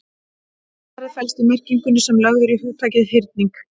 Svarið felst í merkingunni sem lögð er í hugtakið hyrning.